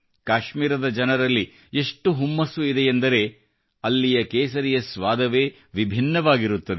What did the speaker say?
ಕಾಶ್ಮೀರದ ಜನರಲ್ಲಿ ಎಷ್ಟು ಹುಮ್ಮಸ್ಸು ಇದೆಯೆಂದರೆ ಅಲ್ಲಿಯ ಕೇಸರಿಯ ಸ್ವಾದವೇ ವಿಭಿನ್ನವಾಗಿರುತ್ತದೆ